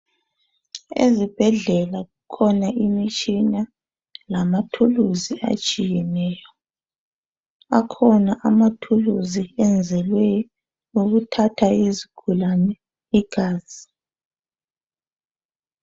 Ezibhedlela kukhona imitshina lamathulusi atshiyeneyo. Akhona amathulusi enzelwe ukuthatha izigulane igazi.